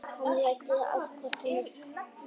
Hann læddist að kortinu.